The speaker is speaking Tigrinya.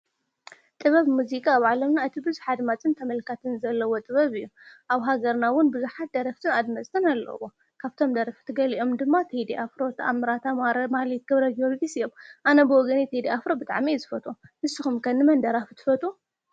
ጥበብ ሙዚቃ ኣብ ዓለምና እቲ ብዙሕ ኣድማፅን ተመልካትን ዘለዎ ጥበብ እዩ። ኣብ ሃገርና እዉን ብዙሓት ደረፍትን ኣድመፅትን ኣለዉ። ካብቶም ደረፍቲ ገሊኦም ድማ ቴዲ ኣፍሮ ተኣምራት ኣማረ ማህሌት ገብርጀወርግስ እዮም ኣነ ብወገነይ ቴዲ ኣፍሮ ብጥዕሚ እየ ዝፈትዎ ንስኩም ከ ንመን ደራፊ ትፈትዉ ?